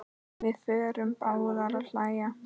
Við förum báðar að hlæja.